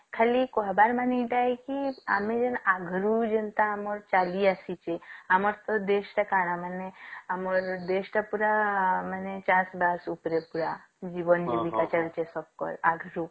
ଖାଲି କହିବାର ମାନେ ଏଇଟା ଏକି ଆମେ ଯେଁ ଅଘରୁ ଯେନ୍ତା ଚାଲି ଆସିଛେ ଆମର ତ ଦେଶ ତଅ କାଣ ମାନେ ଆମର ଦେଶ ଟା ପୁରା ମାନେ ଚାଷ ବାସ ଉପରେ ପୁରା ଜୀବନ ଜୀବିକା ଚାଲିଛି ଆଗରୁ